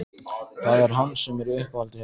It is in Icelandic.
Það er hann sem er í uppáhaldi hjá þeim